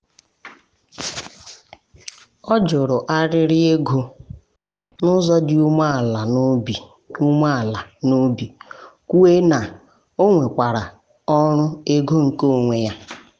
ọ jụrụ arịrị ego n’ụzọ dị umeala n’obi umeala n’obi kwuo na o nwekwara ọrụ ego nke onwe ya.